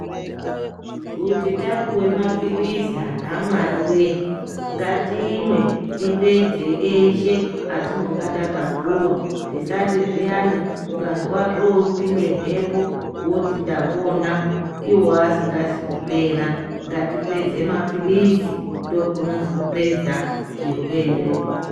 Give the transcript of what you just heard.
Kuti tapuwe maphilizi anhu aMwariwe ngatimwe tipedze eshe atinong takapuwa usati zviyana ukazwa zvopinde mhepo woti ndapona Iwo asingazi kupera, ngatipedze maphilizi ndokunonzi kupedza chirwere.